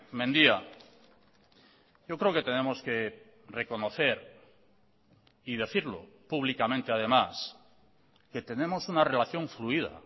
mendia yo creo que tenemos que reconocer y decirlo públicamente además que tenemos una relación fluida